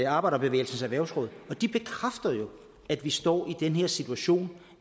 arbejderbevægelsens erhvervsråd og de bekræfter jo at vi står i den her situation